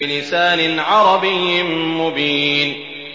بِلِسَانٍ عَرَبِيٍّ مُّبِينٍ